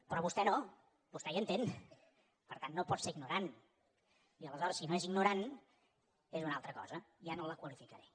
però vostè no vostè hi entén per tant no pot ser ignorant i aleshores si no és ignorant és una altra cosa ja no la qualificaré